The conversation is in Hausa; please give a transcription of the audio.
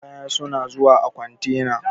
Kaya suna zuwa a kontena.